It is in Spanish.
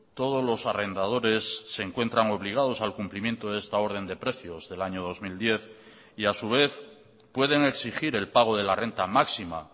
todos los arrendadores se encuentran obligados al cumplimiento de esta orden de precios del año dos mil diez y a su vez pueden exigir el pago de la renta máxima